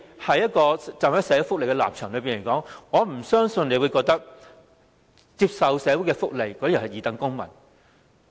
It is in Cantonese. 從社會福利的角度而言，我不相信局長會認為接受社會福利的人是二等公民。